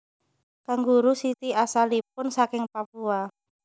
Kanguru siti asalipun saking Papua